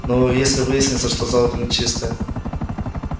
но если выяснится что золото нечистое